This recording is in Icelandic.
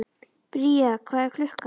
Bría, hvað er klukkan?